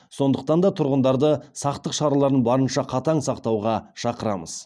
сондықтан да тұрғындарды сақтық шараларын барынша қатаң сақтауға шақырамыз